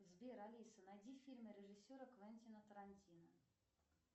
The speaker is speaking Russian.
сбер алиса найди фильмы режиссера квентина тарантино